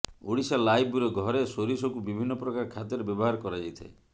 Odisha live bureau ଘରେ ସୋରିଷକୁ ବିଭିନ୍ନ ପ୍ରକାର ଖାଦ୍ୟରେ ବ୍ୟବହାର କରାଯାଇଥାଏ